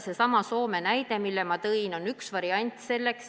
Seesama Soome näide, mille ma tõin, on üks variant.